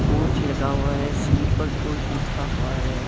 Coach लगा हुआ है स्लीपर कोच लिखा हुआ है।